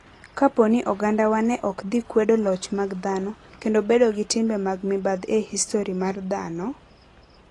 Kapo ni ogandawa ne ok dhi kwedo loch mag dhano, kendo bedo gi timbe mag mibadhi e histori mar dhano...